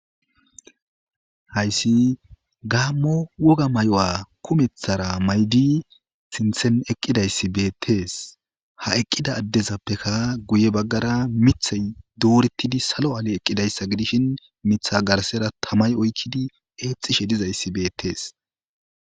Haysi gaamo woga mayuwa kumethara mayidi sinthani eqidaysi beetesi, ha eqida adezappeka guye bagara mithay dooretidi salo Ali eqidaysa gidishn Mitha garsera tammayi oykidi eexishe dizaysi beetesi.